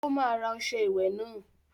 Ó máa ra ọṣẹ ìwẹ̀ náà!